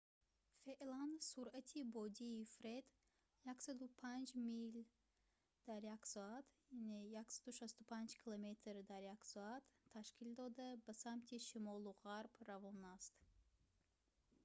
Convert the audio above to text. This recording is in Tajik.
феълан суръати бодии «фред» 105 мил/соат 165 км/соат ташкил дода ба самти шимолу ғарб равон аст